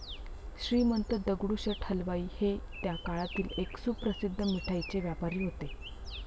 श्रीमंत दगडूशेठ हलवाई हे त्या काळातील एक सुप्रसिद्ध मिठाईचे व्यापारी होते.